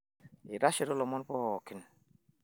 aitashito ilomon poooki